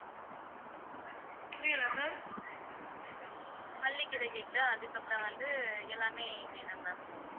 மல்லிக்கீரை கட்டு அதுக்கப்பறம் வந்து எல்லாமே வேணும் ma'am